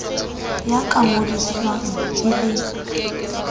ya ka ngodiswang e le